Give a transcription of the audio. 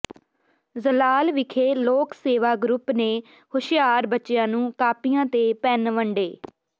ਜਲਾਲ ਵਿਖੇ ਲੋਕ ਸੇਵਾ ਗਰੁੱਪ ਨੇ ਹੁਸ਼ਿਆਰ ਬੱਚਿਆਂ ਨੂੰ ਕਾਪੀਆਂ ਤੇ ਪੈੱਨ ਵੰਡੇ